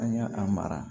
An y'a a mara